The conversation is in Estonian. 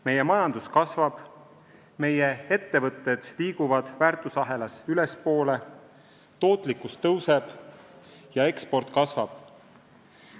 Meie majandus kasvab, meie ettevõtted liiguvad väärtusahelas ülespoole, tootlikkus suureneb ja eksport kasvab.